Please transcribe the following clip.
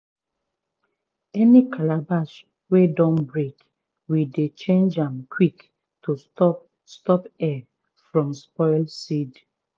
any calabash wey don break we dey change am quick to stop stop air from spoil seed.